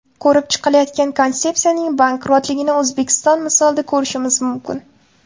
Ko‘rib chiqilayotgan konsepsiyaning bankrotligini O‘zbekiston misolida ko‘rishimiz mumkin.